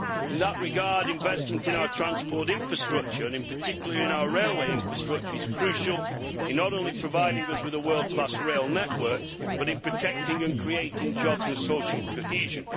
In that regard, investment in our transport infrastructure and, in particular, in our railway infrastructure, is crucial, not only in providing us with a world class rail network but also in protecting and creating jobs and social cohesion.